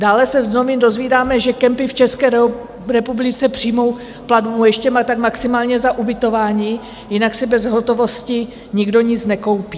Dále se z novin dozvídáme, že kempy v České republice přijmou platbu ještě tak maximálně za ubytování, jinak si bez hotovosti nikdo nic nekoupí.